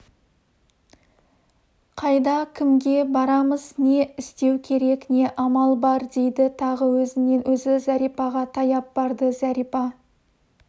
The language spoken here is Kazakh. қайда кімге барамыз не істеу керек не амал бар дейді тағы өзінен-өзі зәрипаға таяп барды зәрипа